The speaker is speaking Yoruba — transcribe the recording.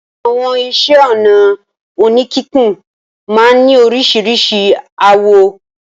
Àwọn iṣẹ́-ọnà oníkíkùn máa ń ní oríṣiríṣi àwọ̀.